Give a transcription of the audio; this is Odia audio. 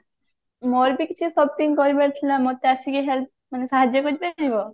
ମୋର ବି କିଛି shopping କରିବାର ଥିଲା ମୋତେ ଆସିକି help ମାନେ ସାହାର୍ଯ୍ୟ କରିପାରିବ?